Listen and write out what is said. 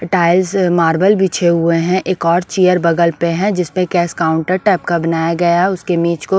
tiles marble बिछे हुए हैं एक और चेयर बगल पे है जिसमें कैश काउंटर टाइप का बनाया गया है उसके नीच को--